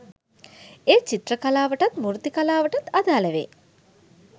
එය චිත්‍ර කලාවටත් මූර්ති කලාවටත් අදාළ වේ